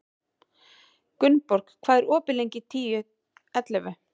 Gunnborg, hvað er opið lengi í Tíu ellefu?